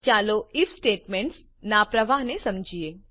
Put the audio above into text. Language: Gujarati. ચાલો આઇએફ સ્ટેટમેન્ટ્સ નાં પ્રવાહને સમજીએ